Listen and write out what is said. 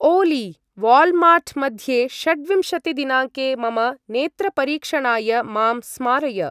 ओलि! Walmart मध्ये षड्विंशति-दिनाङ्के मम नेत्रपरीक्षणाय मां स्मारय।